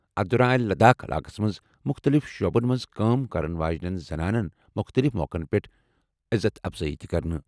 اَتھ دوران آیہِ لداخ علاقَس منٛز مُختٔلِف شعبَن منٛز کٲم کرن واجٮ۪ن زَنانن مُختٔلِف موقعَن پٮ۪ٹھ یزتھ افضٲیی تہِ کرنہِ۔